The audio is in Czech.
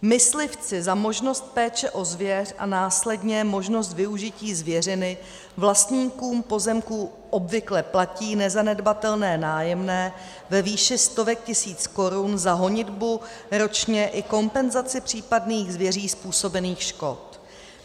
Myslivci za možnost péče o zvěř a následně možnost využití zvěřiny vlastníkům pozemků obvykle platí nezanedbatelné nájemné ve výši stovek tisíc korun za honitbu ročně i kompenzaci případných zvěří způsobených škod.